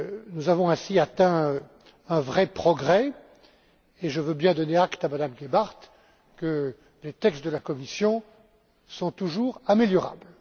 Nous avons ainsi réalisé un vrai progrès et je veux bien donner acte à Mme Gebhardt que les textes de la Commission sont toujours améliorables.